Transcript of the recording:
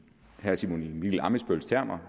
herre simon emil ammitzbølls termer